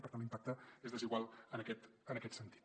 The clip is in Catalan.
per tant l’impacte és desigual en aquest sentit